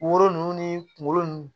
Woro nunnu ni kungolo nunnu